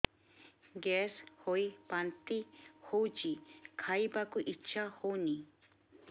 gas ହୋଇ ବାନ୍ତି ହଉଛି ଖାଇବାକୁ ଇଚ୍ଛା ହଉନି